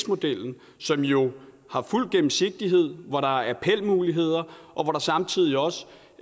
modellen som jo har fuld gennemsigtighed hvor der er appelmuligheder og hvor der samtidig også